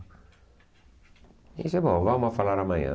Ele disse, bom, vamos falar amanhã.